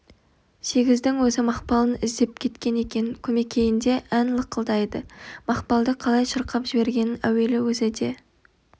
сегіздің өзі мақпалын іздеп жеткен екен көмекейінде ән лықылдайды мақпалды қалай шырқап жібергенін әуелі өзі де